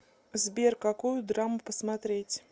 сбер какую драму посмотреть